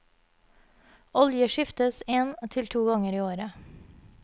Olje skiftes en til to ganger i året.